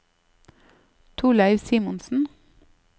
Torleiv Simonsen